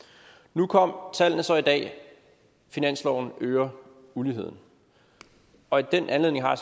nu kom tallene så i dag og finansloven øger uligheden og i den anledning har